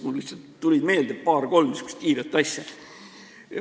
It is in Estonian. Mulle lihtsalt tulid meelde paar-kolm niisugust kiiret asja.